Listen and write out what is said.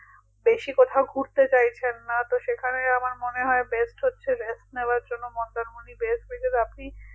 বেশি কোথাও ঘুরতে চাইছেন না তো সেখানে আমার মনে হয় best হচ্ছে rest নেওয়ার জন্য মন্দারমণি best হয়ে যাবে আপনি